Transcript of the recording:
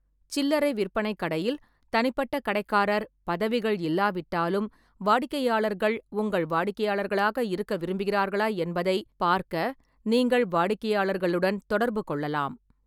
சில்லறை விற்பனைக் கடையில் தனிப்பட்ட கடைக்காரர் பதவிகள் இல்லாவிட்டாலும், வாடிக்கையாளர்கள் உங்கள் வாடிக்கையாளர்களாக இருக்க விரும்புகிறார்களா என்பதைப் பார்க்க நீங்கள் வாடிக்கையாளர்களுடன் தொடர்பு கொள்ளலாம்.